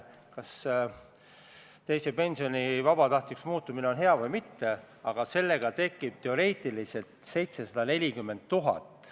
Muudatusettepanekute esitamise tähtaeg oli 9. oktoobril, selleks ajaks muudatusettepanekuid ei esitatud.